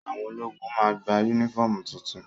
Àwọn ológun máa gba yúnífọ̀mù tuntun